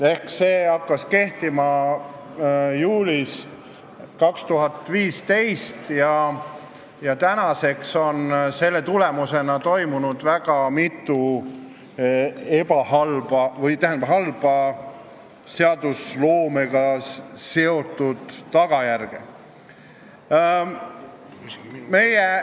See seadus hakkas kehtima juulis 2015 ja tänaseks on selle tõttu tekkinud väga mitu halba tagajärge.